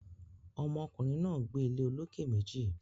Ọmọ kùnrin náà gbé ilé olókè méjì